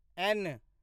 N